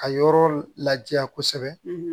Ka yɔrɔ laja kosɛbɛ